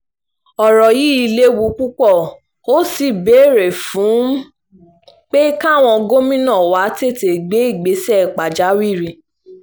ọ̀rọ̀ yìí léwu púpọ̀ ó sì ń béèrè fún pé káwọn gómìnà wa tètè gbé ìgbésẹ̀ pàjáwìrì